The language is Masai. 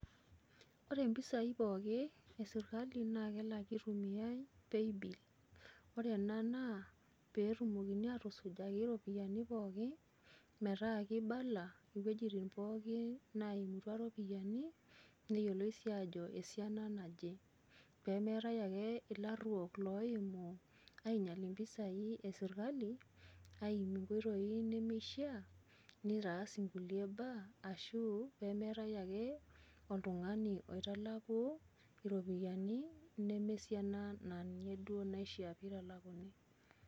ore mpisai pookin esirkali naa kelaki itumiae paybill ore ena naa pee etumokini aatusujaki iroiyiani pookin, metaa keibala, iwuejitin pookin naimutua iropiyiani, neyioloi sii ajo esiana naje. pee meetae ake ilaruok loimu aingial impisai esirkali aimie inkoitoi, nimishaa. nitaas inkulie mbaa. ashu pee metae ake oltungani oitalaku, iropiyiani nemsiana na a ninye duoo naishaa pee italaku.